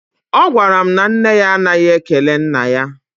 Ọ gwara m na nne ya anaghị ekele nna ya.